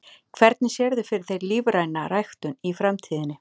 Hvernig sérðu fyrir þér lífræna ræktun í framtíðinni?